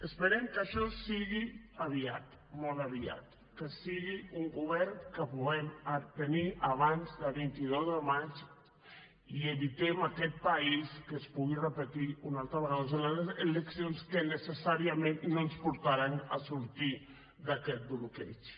esperem que això sigui aviat molt aviat que sigui un govern que puguem tenir abans del vint dos de maig i evitem a aquest país que es puguin repetir una altra vegada unes eleccions que necessàriament no ens portaran a sortir d’aquest bloqueig